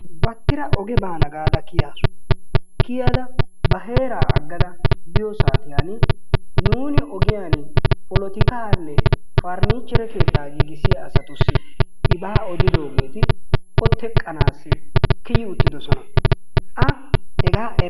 batira oge baana gada kiyaasu. kiyad ba heera agada biyo saatiyani nuuni ogiyani polotikaane parniituiure keetta naagissssiya asati ibaa odidoogeeti o teqqanawu kiyi uttidosona. a hegaa erukku